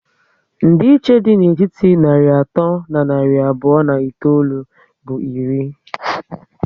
Ndi iche dị na etiti narị atọ na narị abụọ na itoolu bụ iri